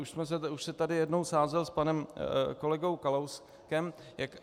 Už se tady jednou sázel s panem kolegou Kalouskem.